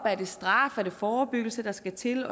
er det straf er det forebyggelse der skal til